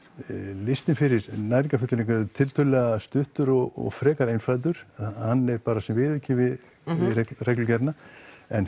listinn fyrir næringarfullyrðingar er tiltölulega stuttur og einfaldur hann er bara sem viðauki við reglugerðina en